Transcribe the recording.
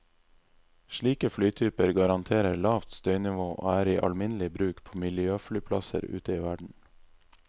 Slike flytyper garanterer lavt støynivå og er i alminnelig bruk på miljøflyplasser ute i verden.